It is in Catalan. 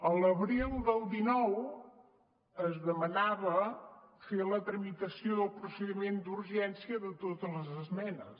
a l’abril del dinou es demanava fer la tramitació del procediment d’urgència de totes les esmenes